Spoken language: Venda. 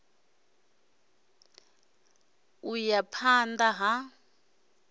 a ṱo ḓea phanḓa ha